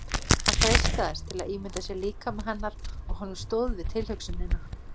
Hann freistaðist til að ímynda sér líkama hennar og honum stóð við tilhugsunina.